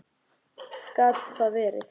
Gat það verið.?